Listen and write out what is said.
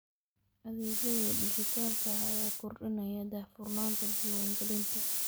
Adeegyada dijitaalka ah ayaa kordhinaya daahfurnaanta diiwaangelinta.